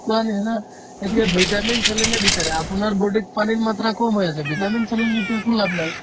কোৱাৰ নিচিনা এতিয়া vitamin saline য়ে বিচাৰে আপোনাৰ body ত পানীৰ মাত্ৰা কম হৈ আছে vitamin saline লৈ তো একো লাভ নাই